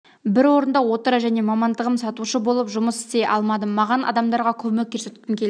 бір орында отыра және мамандығым сатушы болып жұмыст істей алмадым маған адамдарға көмек көрсеткім келді